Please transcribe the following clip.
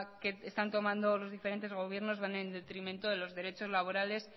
que están tomando los diferentes gobiernos van en detrimento de los derechos laborales